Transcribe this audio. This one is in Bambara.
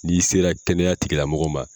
N'i sera kɛnɛya tigi la mɔgɔ ma.